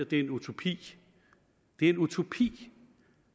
det er en utopi det er en utopi